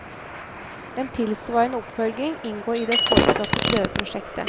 En tilsvarende oppfølging inngår i det foreslåtte prøveprosjektet.